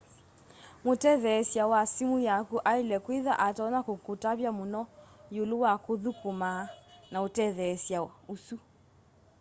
mũtetheesya wa sĩmũ yakũ aĩle kwĩtha atonya kũkũtavya mũno ĩũlũ wa kũthũkũma na ũtetheesya ũsũ